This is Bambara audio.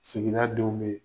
Sigida denw be ye.